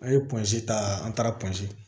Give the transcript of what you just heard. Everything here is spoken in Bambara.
An ye pɔnze ta an taara pansi